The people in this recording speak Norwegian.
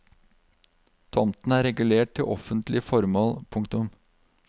Tomten er regulert til offentlige formål. punktum